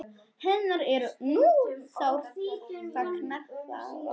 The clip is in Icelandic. Hennar er nú sárt saknað.